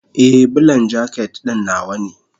Ee, Bulan jaket ɗin nawa ne.